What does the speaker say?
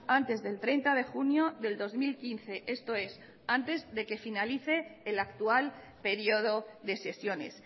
antes del treinta de junio del dos mil quince esto es antes de que finalice el actual periodo de sesiones